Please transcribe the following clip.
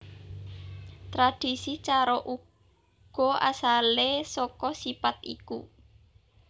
Tradisi carok uga asale saka sipat iku